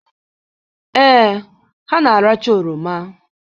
Ee, ha na-aracha oroma.